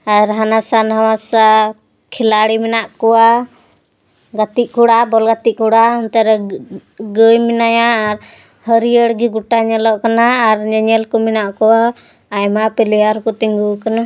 ᱟᱨ ᱦᱟᱱᱟᱥᱟ ᱱᱟᱣᱟᱥᱟ ᱠᱷᱤᱞᱟᱲᱤ ᱢᱮᱱᱟᱜ ᱠᱚᱣᱟ ᱜᱟᱛᱤ ᱠᱚᱲᱟ ᱵᱚᱞ ᱜᱟᱹᱛᱤ ᱠᱚᱲᱟ ᱚᱱᱛᱮ ᱨᱮ ᱜᱟᱭ ᱢᱮᱱᱟᱭᱟ ᱦᱟᱹᱨᱭᱟᱹᱲ ᱜᱤ ᱜᱩᱴᱟ ᱧᱮᱞᱚᱜ ᱠᱟᱱᱟ ᱟᱨ ᱧᱮᱧᱮᱞ ᱠᱚ ᱢᱮᱱᱟᱜ ᱠᱚᱣᱟ ᱟᱭᱢᱟ ᱯᱞᱮᱭᱟᱨ ᱠᱩ ᱛᱤᱱᱜᱩ ᱟᱠᱟᱱᱟ᱾